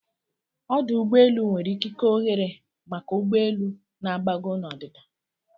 Ọ́dù ụ́gbọ́elụ́ nwere ikike ọ́ghéré maka ụgbọ elu na-agbago na ọdịda